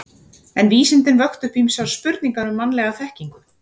En vísindin vöktu upp ýmsar spurningar um mannlega þekkingu.